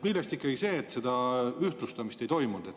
Millest tuli ikkagi see, et seda ühtlustamist ei toimunud?